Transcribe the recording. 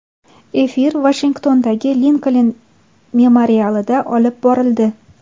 Efir Vashingtondagi Linkoln memorialida olib borildi.